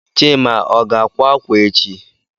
Chima o ga-akwa akwa echi?